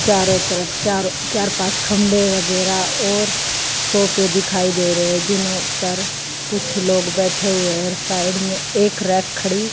चारों तरफ चार चार पांच खंभे वगैरा और सोफे दिखाई दे रहे हैं जिन पर कुछ लोग बैठे हुए हैं और साइड में एक रैक खड़ी--